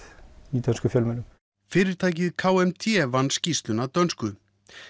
í dönskum fjölmiðlum fyrirtækið k m d vann skýrsluna dönsku